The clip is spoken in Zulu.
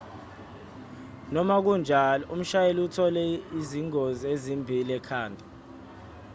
noma kunjalo umshayeli uthole izingozi ezimbi ekhanda